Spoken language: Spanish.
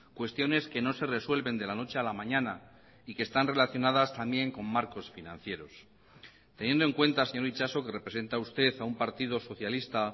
cuestiones que no se resuelven de la noche a la mañana y que están relacionadas también con marcos financieros teniendo en cuenta señor itxaso que representa usted a un partido socialista